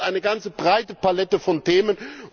dazu gehört eine ganze breite Palette von Themen.